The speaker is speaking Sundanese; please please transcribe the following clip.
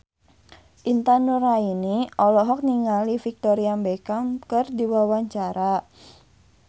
Intan Nuraini olohok ningali Victoria Beckham keur diwawancara